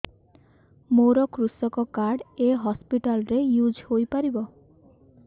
ମୋର କୃଷକ କାର୍ଡ ଏ ହସପିଟାଲ ରେ ୟୁଜ଼ ହୋଇପାରିବ